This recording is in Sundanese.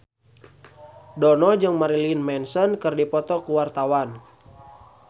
Dono jeung Marilyn Manson keur dipoto ku wartawan